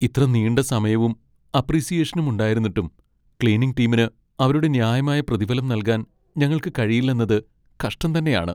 ഇത്ര നീണ്ട സമയവും അപ്പ്രീസിയേഷനും ഉണ്ടായിരുന്നിട്ടും , ക്ലീനിംഗ് ടീമിന് അവരുടെ ന്യായമായ പ്രതിഫലം നൽകാൻ ഞങ്ങൾക്ക് കഴിയില്ലെന്നത് കഷ്ടം തന്നെയാണ്.